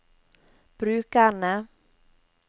brukerne